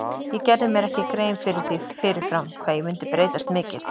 Ég gerði mér ekki grein fyrir því fyrir fram hvað ég myndi breytast mikið.